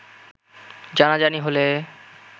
জানাজানি হলে